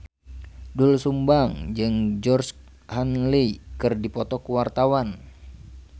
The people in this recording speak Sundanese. Doel Sumbang jeung Georgie Henley keur dipoto ku wartawan